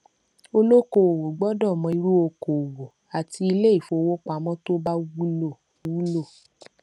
olókòòwò gbọdọ mọ irú okòòwò àti iléifowópamọ tó bá wúlò wúlò